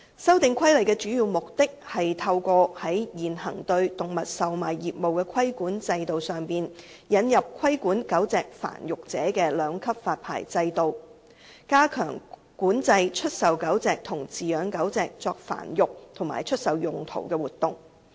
《修訂規例》的主要目的，是透過在現行對動物售賣業務的規管制度上，引入規管狗隻繁育者的兩級發牌制度，加強管制出售狗隻和飼養狗隻作繁育及出售用途的活動。